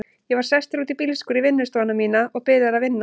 Ég var sestur út í bílskúr, í vinnustofuna mína, og byrjaður að vinna.